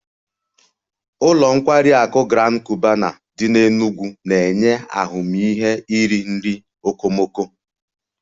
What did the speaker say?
Ụlọ nkwari akụ Grand Cubana dị n'Enugwu na-enye ahụmịhe iri nri okomoko